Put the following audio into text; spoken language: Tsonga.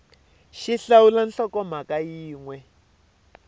x hlawula nhlokomhaka yin we